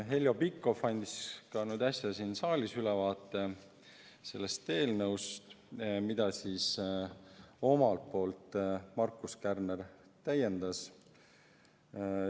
Heljo Pikhof andis ka meile nagu äsja siin saalis sellest eelnõust ülevaate, mida Markus Kärner täiendas.